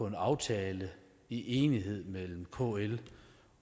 en aftale i enighed mellem kl